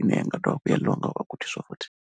ine i nga ḓovha ya ḽiwa nga vhagudiswa futhi.